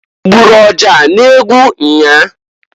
Igburu ọja n'egwu nnyaa?